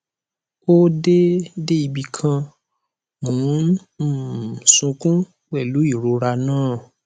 ó dé dé ibì kan mò ń um sunkún pẹlú ìrora náà